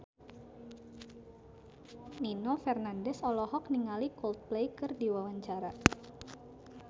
Nino Fernandez olohok ningali Coldplay keur diwawancara